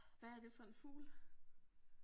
Hvad er det for en fugl?